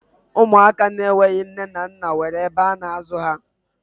Ụmụaka ndị enweghi nne na nna nwere ebe a na-azụ ha